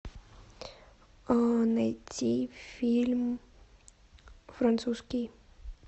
найти фильм французский